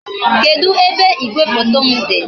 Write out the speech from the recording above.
Kedu ebe igwefoto m dị?